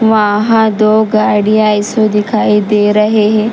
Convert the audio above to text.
वहां दो गाड़ियां ऐसे दिखाई दे रहे हैं।